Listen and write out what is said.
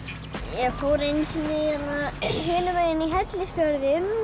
ég fór einu sinni hinum megin í